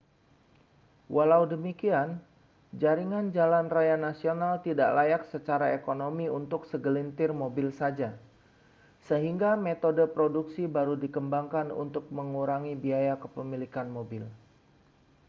walau demikian jaringan jalan raya nasional tidak layak secara ekonomi untuk segelintir mobil saja sehingga metode produksi baru dikembangkan untuk mengurangi biaya kepemilikan mobil